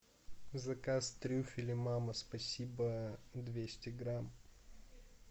заказ трюфеля мама спасибо двести грамм